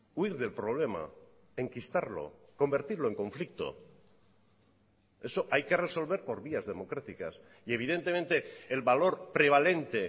huir del problema enquistarlo convertirlo en conflicto eso hay que resolver por vías democráticas y evidentemente el valor prevalente